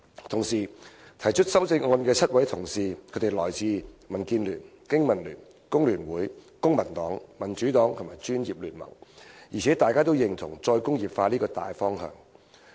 同時，提出修正案的7位同事分別來自民主建港協進聯盟、香港經濟民生聯盟、香港工會聯合會、公民黨、民主黨和公共專業聯盟，大家均認同"再工業化"這個大方向。